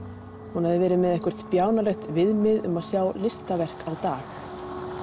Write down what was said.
hún hafði verið með eitthvert bjánalegt viðmið um að sjá listaverk á dag